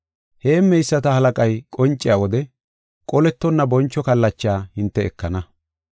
Heemmeyisata halaqay qonciya wode qolettonna boncho kallacha hinte ekana.